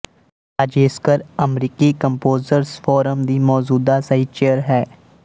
ਰਾਜੇਸਕਰ ਅਮਰੀਕੀ composers forum ਦੀ ਮੌਜੂਦਾ ਸਹਿਚੇਅਰ ਹੈ